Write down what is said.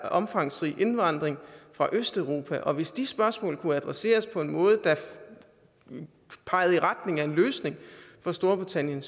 omfangsrig indvandring fra østeuropa og hvis de spørgsmål kunne adresseret på en måde der pegede i retning af en løsning for storbritannien